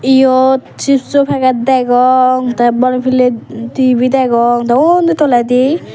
eyot chips o peget degong te bor piley dibey degong te undi toledi.